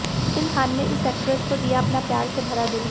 मोहसीन खान ने इस ऐक्ट्रेस को दिया अपना प्यार से भरा दिल